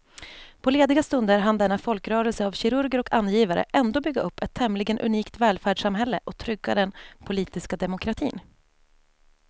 På lediga stunder hann denna folkrörelse av kirurger och angivare ändå bygga upp ett tämligen unikt välfärdssamhälle och trygga den politiska demokratin.